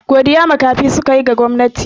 Godiya makafi suka yi ga gwamnati.